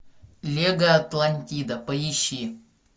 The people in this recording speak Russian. мега атлантида поищи